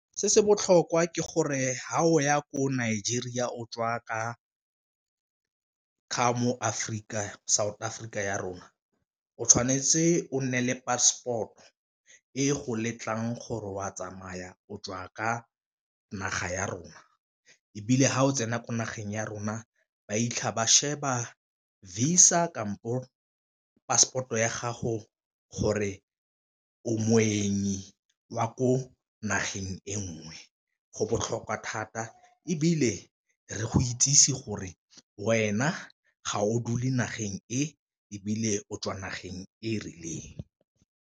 Se se botlhokwa ke gore fa o ya ko Nigeria o tswa ka mo Afrika, South Africa ya rona o tshwanetse o nne le passport-o e go letlang gore o a tsamaya o tswa ka naga ya rona, ebile fa o tsena ko nageng ya rona ba fitlha ba sheba Visa kampo passport-o ya gago gore o moeng wa ko nageng e nngwe go botlhokwa thata, ebile re go itsesi gore wena ga o dule nageng e ebile o tswa nageng e e rileng.